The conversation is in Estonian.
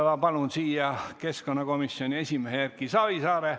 Ma palun esimeseks ettekandeks siia keskkonnakomisjoni esimehe Erki Savisaare.